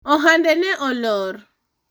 ohande ne olor